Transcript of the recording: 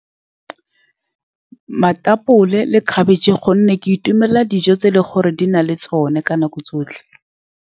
Matapole le khabetšhe, ka gonne ke itumelela dijo tse e leng gore di na le tsone ka dinako tsotlhe.